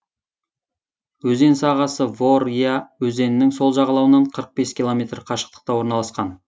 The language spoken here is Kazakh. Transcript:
өзен сағасы вор я өзенінің сол жағалауынан қырық бес километр қашықтықта орналасқан